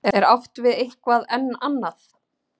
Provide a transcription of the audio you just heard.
er átt við eitthvað enn annað